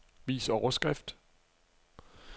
Vis overskrift.